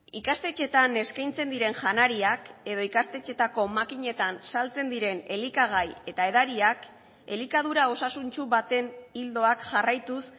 ikastetxeetan eskaintzen diren janariak edo ikastetxeetako makinetan saltzen diren elikagai eta edariak elikadura osasuntsu baten ildoak jarraituz